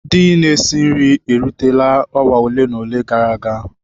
] Ndị na-esi nri rutere awa ole na ole gara aga.